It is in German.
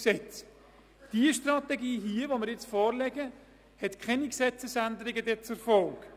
Die Strategie, die Ihnen nun vorliegt, hat keine Gesetzesänderungen zur Folge.